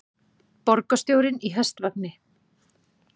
Borgarstjórinn í hestvagni